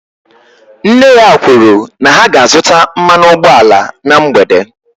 Nna ya kwuru na ha ga-azụta mmanụ ụgbọala na mgbede